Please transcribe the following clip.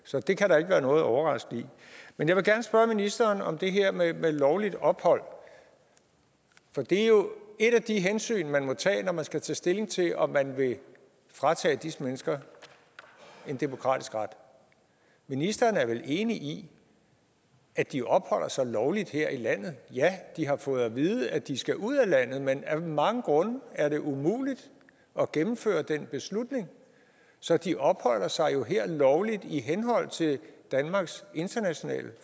så det kan der ikke være noget overraskende i men jeg vil gerne spørge ministeren om det her med lovligt ophold for det er jo et af de hensyn man må tage når man skal tage stilling til om man vil fratage disse mennesker en demokratisk ret ministeren er vel enig i at de opholder sig lovligt her i landet ja de har fået at vide at de skal ud af landet men af mange grunde er det umuligt at gennemføre den beslutning så de opholder sig jo her lovligt i henhold til danmarks internationale